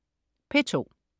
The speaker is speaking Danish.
P2: